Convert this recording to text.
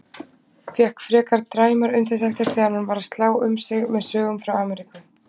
Fékk frekar dræmar undirtektir þegar hann var að slá um sig með sögum frá Ameríku.